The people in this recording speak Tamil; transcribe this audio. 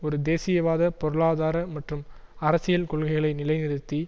ஒரு தேசியவாத பொருளாதார மற்றும் அரசியல் கொள்கைகளை நிலை நிறுத்தி